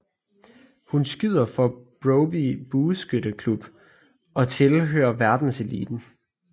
Hun skyder for Broby Bueskytte Klub og tilhører verdenseliten